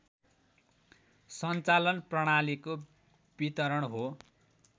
सञ्चालन प्रणालीको वितरण हो